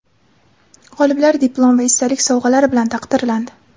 G‘oliblar diplom va esdalik sovg‘alari bilan taqdirlandi!.